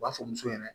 U b'a fɔ muso ye